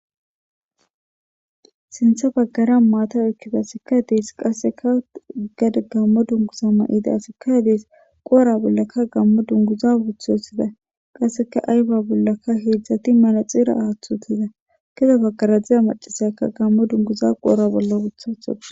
sintha baggara maata okkida asikkadees qasseka gada gammo dunguza ma7ida sikkadees qoora bollakka gammo dunguza wuthosida qasseka ayba bollaka heedzdzati manaxira aaththutiza kede baggaradziza macasaakka gammo dunguza qoora bolla wuthatho